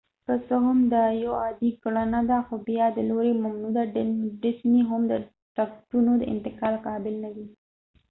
که څه هم دا یو عادي کړنه ده ، خو بیا هم د disney د لورې ممنوع ده : ټکټونه د انتقال قابل ندي